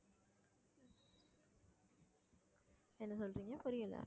என்ன சொல்றீங்க புரியல